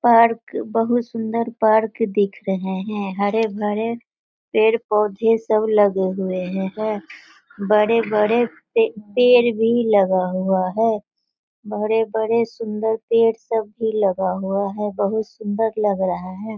Park बहोत सुंदर park दिख रहे हैं। हरे भरे पेड़ पौधे सब लगे हुए हैं। बड़े बड़े पे- पेड़ भी लगा हुआ हैं। बड़े बड़े सुंदर पेड़ सब भी लगा हुआ है। बहोत सुन्दर लग रहा है ।